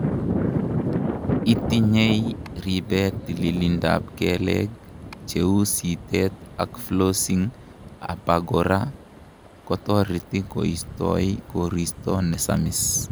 itinyei ribe tililindap keleek, cheu sitet ak flossing abakora, kotoreti koistoi koristo nesamis